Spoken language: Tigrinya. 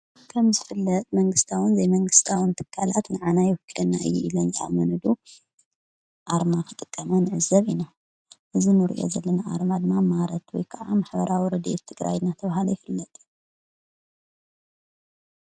ከም ዝፍለጥ መንግስታውን ዘይመንግስታዊን ትካላት ንዓና ይውክለና እዩ ኢለን ዝኣመንሉ ኣርማ ኽጥቀማ ንዕዘብ ኢና። እዚ እንርእዩ ዘለና ኣርማ ድማ ማረት ወይ ከዓ ማህበራዊ ረዲኤት ትግራይ እንዳተብሃለ ይፍለጥ።